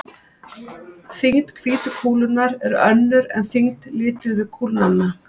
Þyngd hvítu kúlunnar er önnur en þyngd lituðu kúlnanna.